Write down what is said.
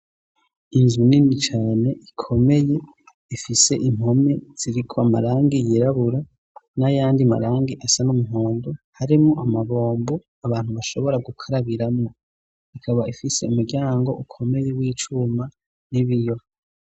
Inzu nini cane ikomeye ifise impome ziriko amarangi yirabura n'ayandi marangi asa n'umuhondo harimwo amabombo abantu bashobora gukarabiramwo ikaba ifise umuryango ukomeye w'icuma n'ibiyo.